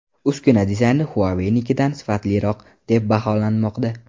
Uskuna dizayni Huawei’nikidan sifatliroq deb baholanmoqda.